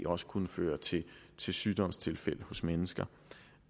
også kunne føre til til sygdomstilfælde hos mennesker